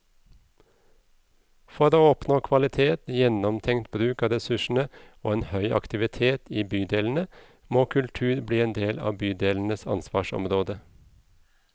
For å oppnå kvalitet, gjennomtenkt bruk av ressursene og en høy aktivitet i bydelene, må kultur bli en del av bydelenes ansvarsområde.